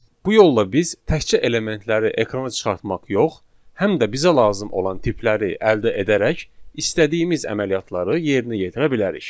Bu yolla biz təkcə elementləri ekrana çıxartmaq yox, həm də bizə lazım olan tipləri əldə edərək istədiyimiz əməliyyatları yerinə yetirə bilərik.